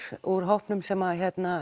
úr hópnum sem